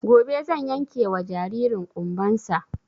Gobe zan yanke wa jaririn ƙumban sa